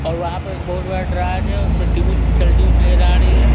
और वहाँ पर एक बहुत बड़ा ड्रायर है उस पर टी_वी चलती हुई नजर आ रही है।